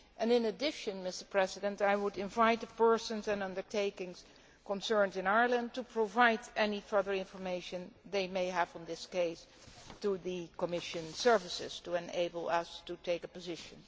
In addition, I would invite the persons and undertakings concerned in Ireland to provide any further information they may have on this case to the Commission services, to enable us to take a position.